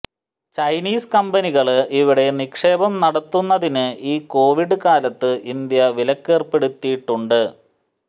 Chinese കമ്പനികള് ഇവിടെ നിക്ഷേപം നടത്തുന്നതിന് ഈ കൊവിഡ് കാലത്ത് ഇന്ത്യ വിലക്കേര്പ്പെടുത്തിയിട്ടുണ്ട്